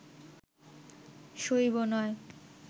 শৈব নয়